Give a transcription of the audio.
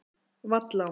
Vallá